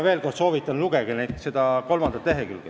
Veel kord soovitan: lugege seda kolmandat lehekülge.